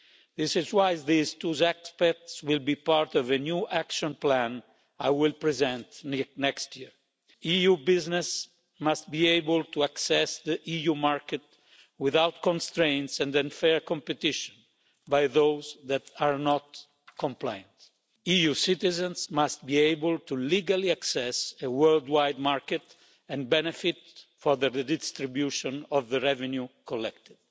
This is why these two aspects will be part of a new action plan I will present next year. EU business must be able to access the EU market without constraints and unfair competition by those that are not compliant. EU citizens must be able to legally access the worldwide market and benefit from the redistribution of the revenue collected.